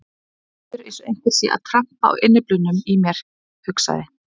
Mér líður eins og einhver sé að trampa á innyflunum í mér, hugsaði